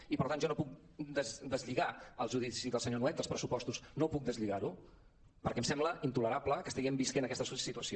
i per tant jo no puc deslligar el judici del senyor nuet dels pressupostos no puc deslligar ho perquè em sembla intolerable que estiguem vivint aquesta situació